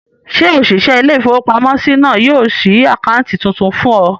Ṣé òṣìṣẹ́ ilé-ìfowópamọ́sí náà yóò ṣí àkáǹtì tuntun fún ọ?